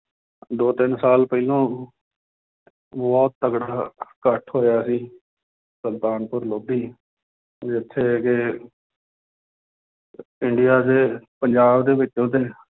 ਦੋ ਤਿੰਨ ਸਾਲ ਪਹਿਲੋਂ ਬਹੁਤ ਤਕੜਾ ਇਕੱਠ ਹੋਇਆ ਸੀ ਸੁਲਤਾਨਪੁਰ ਲੋਧੀ ਵੀ ਉੱਥੇ ਦੇ ਇੰਡੀਆ ਦੇ ਪੰਜਾਬ ਦੇ ਵਿੱਚ ਉਹਦੇ